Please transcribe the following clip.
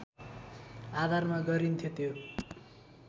आधारमा गरिन्थ्यो त्यो